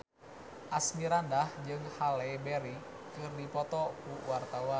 Asmirandah jeung Halle Berry keur dipoto ku wartawan